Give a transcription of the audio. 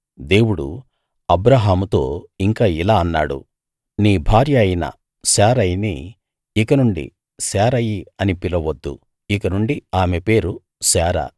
దేవుడు అబ్రాహాముతో ఇంకా ఇలా అన్నాడు నీ భార్య అయిన శారయిని ఇకనుండి శారయి అని పిలువవద్దు ఇకనుండి ఆమె పేరు శారా